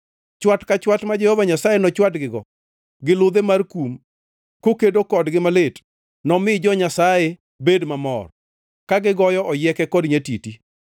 Chwat ka chwat ma Jehova Nyasaye nochwadgigo gi ludhe mar kum kokedo kodgi malit, nomi jo-Nyasaye bed mamor ka gigoyo oyieke kod nyatiti.